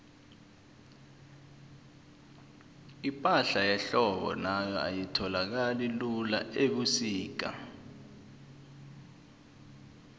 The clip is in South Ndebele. ipahla yehlobo nayo ayitholakali lula ubusika